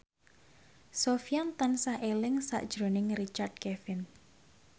Sofyan tansah eling sakjroning Richard Kevin